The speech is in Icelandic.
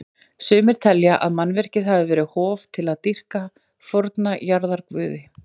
Sumir telja að mannvirkið hafi verið hof til að dýrka forna jarðarguði.